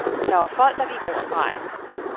Der var folk, der gik over stregen.